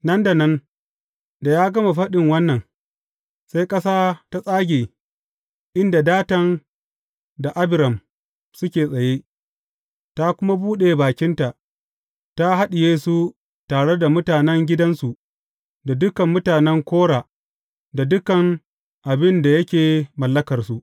Nan da nan da ya gama faɗi wannan, sai ƙasa ta tsage inda Datan da Abiram suke tsaye, ta kuma buɗe bakinta, ta haɗiye su tare da mutanen gidansu da dukan mutanen Kora da dukan abin da yake mallakarsu.